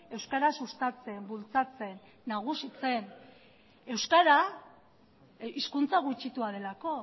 euskara sustatzen bultzatzen nagusitzen euskara hizkuntza gutxitua delako